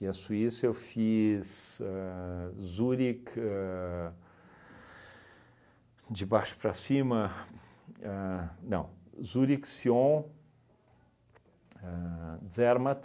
E a Suíça eu fiz ahn Zurich ahn, de baixo para cima ahn, não, Zurich, Sion, ahn Zermatt.